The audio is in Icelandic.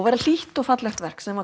var hlýtt og fallegt verk sem